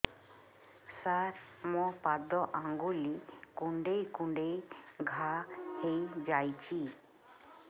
ସାର ମୋ ପାଦ ଆଙ୍ଗୁଳି କୁଣ୍ଡେଇ କୁଣ୍ଡେଇ ଘା ହେଇଯାଇଛି